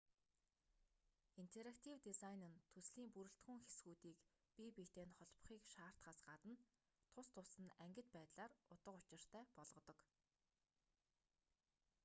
интерактив дизайн нь төслийн бүрэлдэхүүн хэсгүүдийг бие биетэй нь холбохыг шаардахаас гадна тус тусад нь ангид байдлаар утга учиртай болгодог